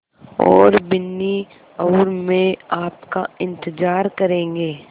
और बिन्नी और मैं आपका इन्तज़ार करेंगे